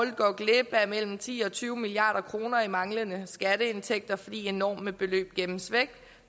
går glip af mellem ti og tyve milliard kroner i manglende skatteindtægter fordi enorme beløb gemmes væk